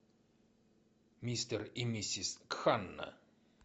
мистер и миссис кханна